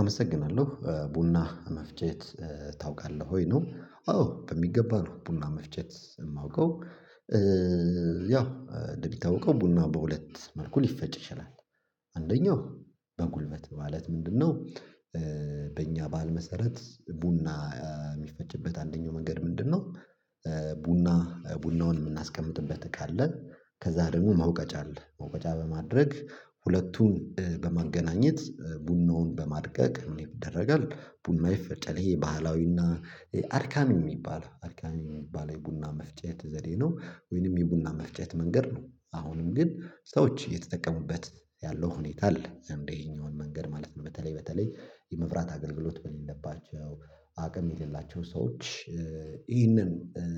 አመሰግናለሁ ቡና መፍጨት ታውቃለህ ወይ ነው? አዎ በሚገባ ነው ቡና መፍጨት የማውቀው። ያው እንደምታውቀው ቡና በሁለት መልኩ ሊፈጭ ይችላል አንደኛው በጉልበት ማለት ምንድነው? በእኛ በህል መሰረት ቡና የሚፈጭበት አንደኛው መንገድ ምንድነው? ቡና ቡናውን የምናስቀምጥበት ካለ ከዛ ደግሞ መውቀጫ አለ መውቀጫ በማድረግ ሁለቱን በማገናኘት ቡናውን በማድቀቅ ምን ይደረጋል ቡና ይፈጫል ይሄ ባህላዊና አድካሚ የሚባል አድካሚ የሚባል የቡና መፍጨት ዘዴ ነው። ወይንም የቡና መፍጨት መንገድ ነው። አሁንም ግን ሰዎች እየተጠቀሙበት ያለው ሁኔታ አለ። ይሄኛውን መንገድ ማለት ነው በተለይ በተለይ የመብራት አገልግሎት በሌለባቸው አቅም የሌላቸው ሰዎች ይህንን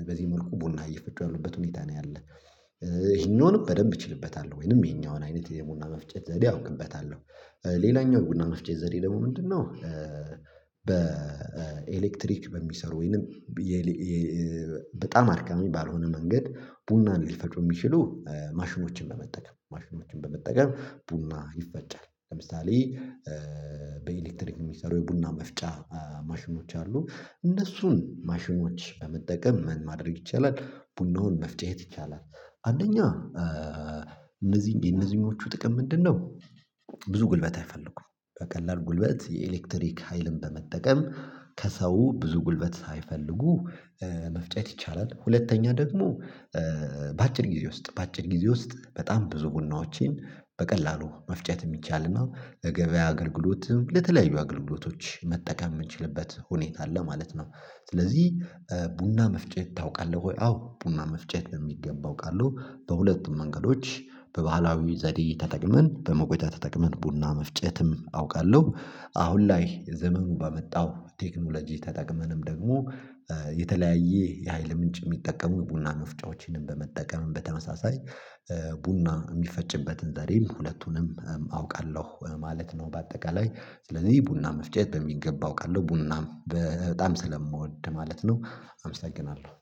በዚህ መልኩ ቡና እየፈጩ ያሉበት ሁኔታ ነው ያለ። ይህኛውንም በደንብ እችልበታለሁ ወይንም ይህኛውን አይነት የቡና መፍጨት ዘዴ አውቅበታለሁ። ሌላኛው የቡና መፍጨት ዘዴ ደግሞ ምንድነው? በኤሌክትሪክ በሚሰሩ ወይንም ብ የ በጣም አድካሚ ባልሆነ መንገድ ቡናንን ሊፈጩ የሚችሉ ማሽኖችን በመጠቀም ማሽኖችን በመጠቀም ቡና ይፈጫል ለምሳሌ እ በኤሌክትሪክ የሚሰሩ የቡና መፍጫ ማሽኖች አሉ። እነሱን ማሽኖች በመጠቀም ምን ማድረግ ይቻላል? ቡናውን መፍጨት ይቻላል። አንደኛ እ እነዚህ የነዚህኞቹ ጥቅም ምንድነው? ብዙ ጉልበት አይፈልጉም በቀላል ጉልበት የኤሌክትሪክ ሀይልን በመጠቀም ከሰው ብዙ ጉልበት ሳይፈልጉ መፍጨት ይቻላል። ሁለተኛ ደግሞ እ በአጭር ጊዜ ውስጥ በአጭር ጊዜ ውስጥ በጣም ብዙ ቡናዎችን በቀላሉ መፍጨት የሚቻልና ለገበያ አገልግሎትም ለተለያዩ አገልግሎቶች መጠቀም የምንችልበት ሁኔታ አለ ማለት ነው። ስለዚህ ቡና መፍጨት ታውቃለህ ወይ? አዎ ቡና መፍጨት በሚገባ አዉቃለሁ። በሁለቱም መንገዶች በባህላዊ ዘዴ ተጠቅመን በመቆጫ ተጠቅመን ቡና መፍጨትም አውቃለሁ። አሁን ላይ ዘመኑ ባመጣው ቴክኖሎጂ ተጠቅመንም ደግሞ እ የተለያዬ የሀይል ምንጭ የሚጠቀሙ ቡና መፍጫዎችንም በመጠቀም በተመሳሳይ ቡና የሚፈጭበትን ዘዴም ሁለቱንም አውቃለሁ ማለት ነው። በአጠቃላይ ስለዚህ ቡና መፍጨት በሚገባ አውቃለሁ ቡናም በጣም ስለምወድ ማለት ነው። አመሰግናለሁ